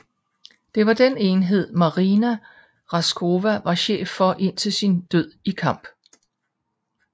Det var den enhed Marina Raskova var chef for indtil sin død i kamp